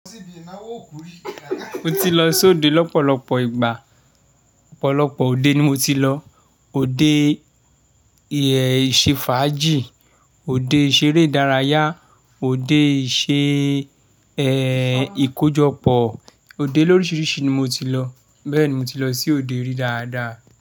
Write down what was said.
Mo ti lọ sí òde lọ́pọ̀lọpọ̀ ìgbà. Ọ̀pọ̀lọpọ̀ òde ni mo ti lọ. Ode ìṣefàájì, òde ìṣeré ìdárayá, òde ìṣe, ẹ́, ìkójọpọ̀. Ode lóríṣiríṣi ni mo ti lọ. Bẹ́ẹ̀ni, mo ti lọ sí òde rí dáadáa.